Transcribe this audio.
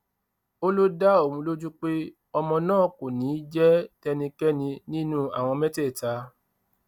ó lọ dá òun lójú pé ọmọ náà kò ní í jẹ tẹnikẹni nínú àwọn mẹtẹẹta